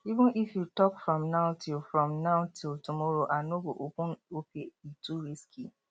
even if you talk from now till from now till tomorrow i no go open opay e too risky